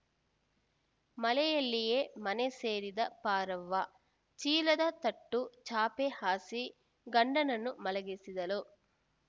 ಮಳೆಯಲ್ಲಿಯೇ ಮನೆ ಸೇರಿದ ಪಾರವ್ವ ಚೀಲದ ತಟ್ಟು ಚಾಪೆ ಹಾಸಿ ಗಂಡನನ್ನು ಮಲಗಿಸಿದಳು